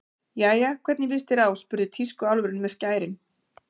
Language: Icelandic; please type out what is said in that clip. Jæja, hvernig líst þér á spurði tískuálfurinn með skærin.